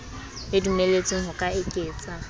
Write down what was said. e dumelletswe ho ka eketsa